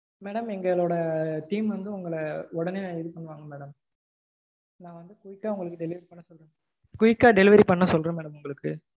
madam எங்களோட team வந்து உங்கள உடனே இது பண்ணுவாங்க madam. நா வந்து quick கா உங்களுக்கு delivery பண்ண சொல்றேன் madam quick கா delivery பண்ண சொல்றேன் madam உங்களுக்கு.